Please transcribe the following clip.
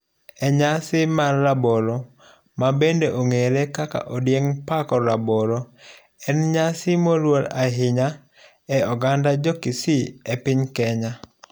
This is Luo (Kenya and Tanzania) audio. Enyasi mar rabolo mabende ong'ere kaka odieng pako rabolo, en nnyasi nmoluor ahinya e oganda jokisi epiny Kenya.